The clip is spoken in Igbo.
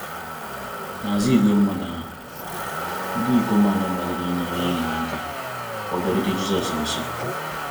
N'azụ igwe mmadụ ndị ahụ, ndị ikom anọ gbalịrị inyere enyi ha aka ka ọ bịarute Jizọs nso.